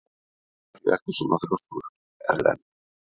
Af hverju ertu svona þrjóskur, Erlen?